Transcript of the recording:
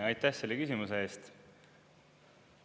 Aitäh selle küsimuse eest!